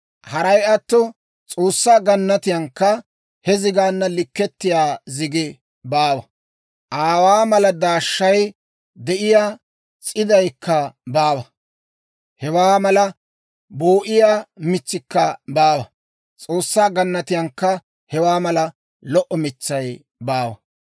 Haray atto S'oossaa gannatiyankka he zigaanna likkettiyaa zigi baawa; aawaa mala daashshay de'iyaa s'iiddaykka baawa; hewaa mala boo'iyaa mitsikka baawa. S'oossaa gannatiyankka hewaa mala lo"o mitsay baawa.